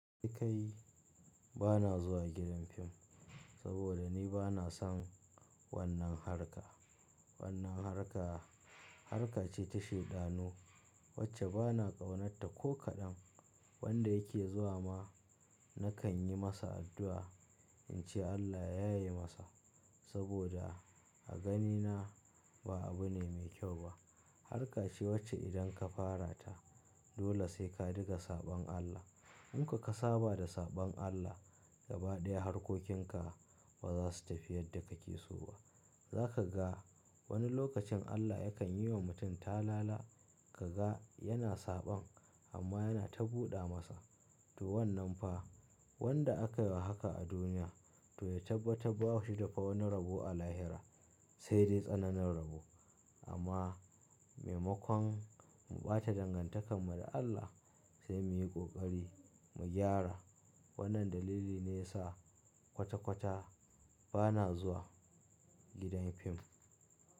Dai kai bana zuwa gidan fim, saboda ni bana son wannan harka. Wannan harka, harkace ta shaidanu wacce bana ƙaunatta ko kaɗan. Wanda yake zuwa ma nakan yi masa addu'a in ce Allah ya yaye masa, saboda a ganina ba abu ne mai kyau ba. Harkace wacce idan ka fara ta dole sai ka diga saɓan Allah. In ka kasa bada saɓan Allah gaba ɗaya harkokinka ba za su tafi yadda kake so ba. Zaka ga wani lokacin Allah yakan yi wa mutum talala, kaga yana saɓan amma yana ta buɗa masa. To wannan fa wanda aka yi haka a duniya to ya tabbatar ba shi da fa wani rabo a lahira sai dai tsananin rabo. Amma maimakon mu ɓata dangantakar mu da Allah sai muyi ƙoƙari mu gyara. Wannan dalili ne ya sa kwata-kwata bana zuwa gidan fim.